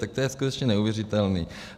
Tak to je skutečně neuvěřitelné.